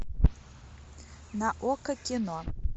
на окко кино